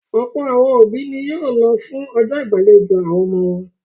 Ọ̀pọ̀ àwọn òbí ni yóò lọ fún ọjọ́ ìgbàlejò àwọn ọmọ wọn.